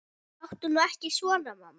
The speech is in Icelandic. Láttu nú ekki svona mamma.